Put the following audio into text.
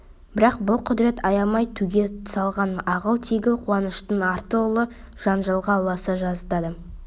бірақ бұл құдірет аямай төге салған ағыл-тегіл қуаныштың арты ұлы жанжалға ұласа жаздады